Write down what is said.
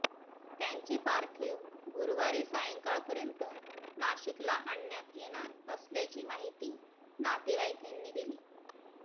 त्यांचे पार्थिव गुरुवारी सायंकाळपर्यंत नाशिकला आणण्यात येणार असल्याची माहिती नातेवाईकांनी दिली